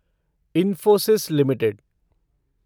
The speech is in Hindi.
इन्फोसिस लिमिटेड